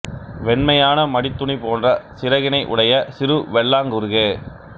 வெண்மையான மடித்துணி போன்ற சிறகினை உடைய சிறு வெள்ளாங் குருகே